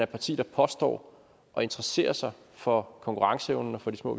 parti der påstår at interessere sig for konkurrenceevnen og for de små